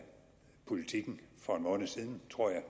politiken for en måned siden tror jeg